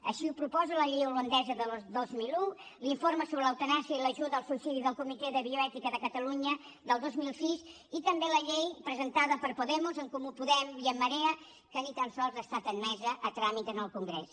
així ho proposa la llei holandesa del dos mil un l’informe sobre l’eutanàsia i l’ajuda al suïcidi del comitè de bioètica de catalunya del dos mil sis i també la llei presentada per podemos en comú podem i en marea que ni tan sols ha estat admesa a tràmit en el congrés